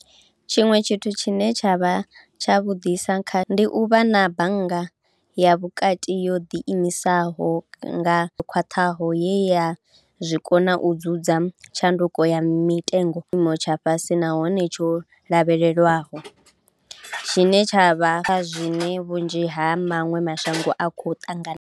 Tshiṅwe tshithu tshine tsha vha tshavhuḓisa kha ndi u vha na Bannga ya Vhukati yo ḓiimisaho nga yo khwaṱhaho ye ya zwi kona u dzudza tshanduko ya mitengo i kha tshiimo tsha fhasi nahone tsho lavhelelwaho, tshine tsha vha kha vhunzhi ha maṅwe mashango a khou ṱangana.